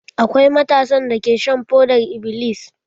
Akwai matasan dake shan fodar-iblis.